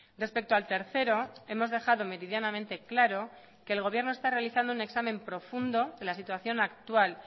respecto al tercero hemos dejado meridianamente claro que el gobierno está realizando un examen profundo de la situación actual